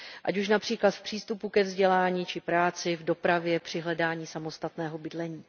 Ať už například v přístupu ke vzdělání či práci, v dopravě, při hledání samostatného bydlení.